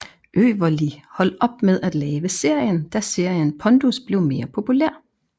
Øverli hold op med at lave serien da serien pondus blev mere populær